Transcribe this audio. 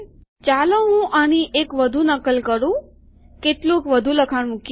ચાલો હું આની એક વધુ નકલ કરું કેટલુંક વધુ લખાણ મુકીએ